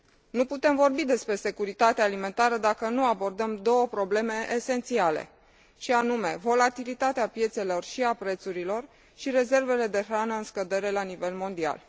Nu putem vorbi despre securitatea alimentară dacă nu abordăm două probleme esențiale și anume volatilitatea piețelor și a prețurilor și rezervele de hrană în scădere la nivel mondial.